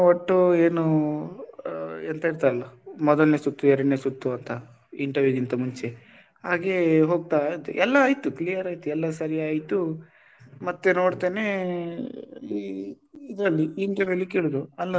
ಒಟ್ಟು ಏನು ಎಂತ ಹೇಳ್ತಾರೆ ಅಲ್ಲ ಮೊದಲನೆ ಸುತ್ತು ಎರಡನೇ ಸುತ್ತು ಅಂತ interview ಗಿಂತ ಮುಂಚೆ ಹಾಗೆ ಹೋಗ್ತಾ ಇದ್ದೆ ಎಲ್ಲ ಆಯ್ತು clear ಆಯ್ತು ಎಲ್ಲ ಸರಿ ಆಯ್ತು ಮತ್ತೆ ನೋಡ್ತೇನೆ ಈ ಇದ್ರಲ್ಲಿ ಈ interview ಅಲ್ಲಿ ಕೇಳುದು ಅಲ್ಲಾ,